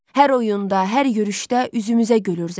Hər oyunda, hər yürüşdə üzümüzə gülür zəfər.